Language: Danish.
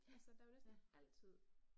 Ja, ja